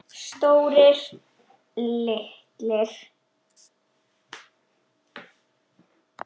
Stórir, litlir.